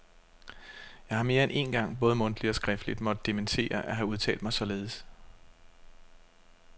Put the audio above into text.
Jeg har mere end én gang både mundtligt og skriftligt måtte dementere at have udtalt mig således.